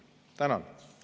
Tänan!